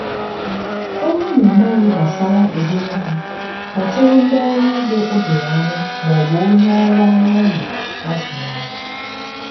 ọ bụrụ na ịmaghị gbasara ụdị nri kpọtụrụ ndị ọrụ ugbo o doro anya maọbụ onye ọrụ anụ ụlọ a zụrụ azụ.